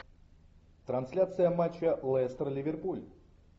трансляция матча лестер ливерпуль